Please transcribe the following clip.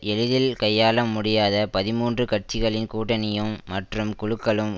எளிதில் கையாள முடியாத பதிமூன்று கட்சிகளின் கூட்டணியும் மற்றும் குழுக்களும்